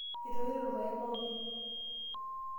Etoito irpaek pookin.